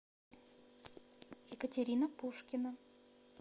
екатерина пушкина